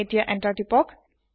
এতিয়া এন্টাৰ তিপক